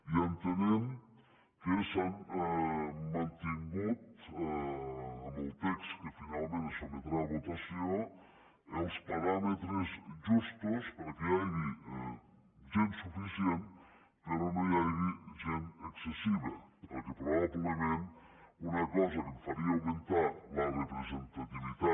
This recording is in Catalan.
i entenem que s’han mantingut en el text que finalment se sotmetrà a votació els paràmetres justos perquè hi hagi gent suficient però no hi hagi gent excessiva perquè probablement una cosa que faria augmentar la representativitat